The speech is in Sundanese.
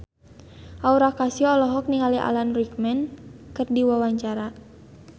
Aura Kasih olohok ningali Alan Rickman keur diwawancara